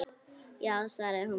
Já, svaraði hún pirruð.